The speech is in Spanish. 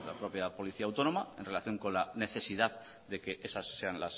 propia policía autónoma en relación con la necesidad de que esas sean